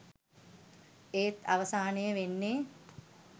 එත් අවසානයේ වෙන්නේ